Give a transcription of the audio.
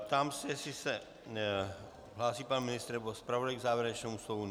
Ptám se, jestli se hlásí pan ministr nebo zpravodaj k závěrečnému slovu.